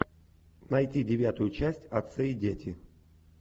найти девятую часть отцы и дети